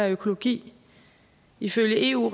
økologi ifølge eu